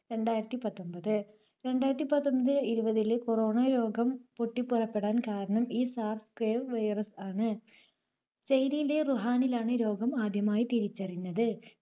രണ്ടായിരത്തി പത്തൊൻപത്, രണ്ടായിരത്തി പത്തൊൻപത് ഇരുപതിലെ corona രോഗം പൊട്ടിപ്പുറപ്പെടാൻ കാരണം ഈ SARS-CoV virus ആണ്. ചൈനയിലെ വുഹാനിലാണ് ഈ രോഗം ആദ്യമായി തിരിച്ചറിഞ്ഞത്.